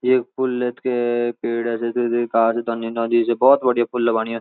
ये पुल क पेड़ नदी से भोत बढ़िया पुल बण्यू।